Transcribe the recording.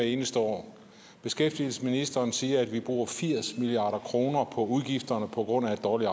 eneste år beskæftigelsesministeren siger at vi bruger firs milliard kroner på udgifter på grund af et dårligt